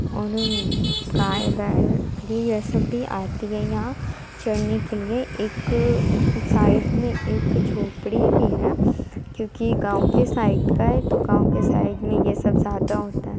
और उ गाय बैल भी ये सब भी आती है यहाँ चरने के लिए | एक अ साइड में एक झोपड़ी भी है क्यूंकी गाँव के साइड का है तो गाँव के साइड में ये सब ज़्यादा होता है।